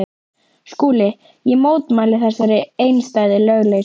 SKÚLI: Ég mótmæli þessari einstæðu lögleysu.